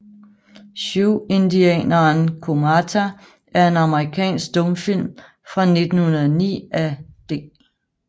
Siouxindianeren Comata er en amerikansk stumfilm fra 1909 af D